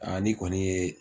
ni kɔni ye